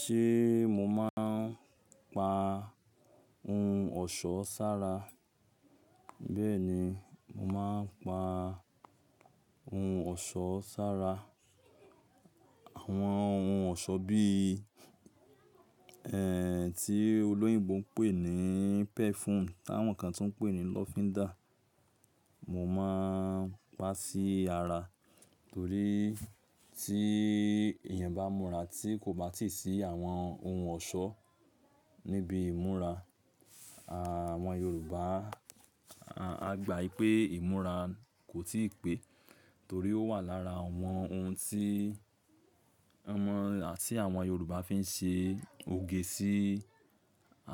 Ṣé mo máa ń pa ohun ọ̀ṣọ́ sára? Bẹ́ẹ̀ni, mo máa ń pa ohun ọ̀ṣọ́ sára. Àwọn ohun ọ̀ṣọ́ bí, ẹ́ ti olóyìnbo ń pè ní perfume táwọn kan tún ń pè ní lọfindà. Mo máa ń pa sí ara torí tí èèyàn bá múra tí kò bá tì sí àwọn ohun ọ̀ṣọ́ níbi ìmúra, àwọn Yorùbá, a gbà pé ìmúra kò tíì pé. Torí ó wà lára àwọn ohun tí, àwọn, tí àwọn Yorùbá fi ń ṣe òge sí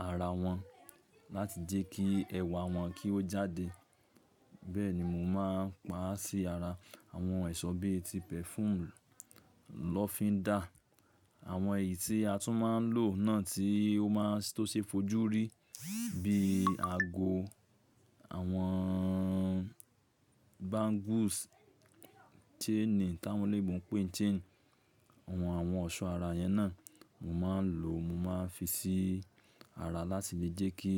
ara wọn láti jẹ́ kí ẹwà wọn kí ó jáde. Bẹ́ẹ̀ni, mo máa ń pa sí ara àwọn ẹ̀ṣọ́ bíi ti perfume, lọfindà, àwọn èyí tí a tún máa ń lò náà tí ó máa ń tó ṣe fojú rí bíi ago, àwọn bangles, chainí tí àwọn olóyìnbo ń pè chain, àwọn, àwọn ọ̀ṣọ́ ara yẹn náà. Mo máa ń lò, mo máa ń fi sí ara láti lè jẹ́ kí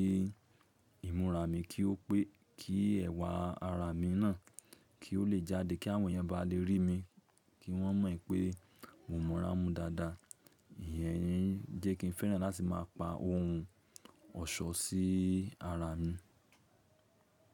ìmúra mi kí ó pé, kí ẹwà ara mi náà kí ó lè jáde, kí àwọn èèyàn bá le rí mi, kí wọ́n mọ̀ pé mo mo ara mú dáadáa. Ìyẹn jẹ́ kí n fẹ́ràn láti máa pa ohun ọ̀ṣọ́ sí ara mi.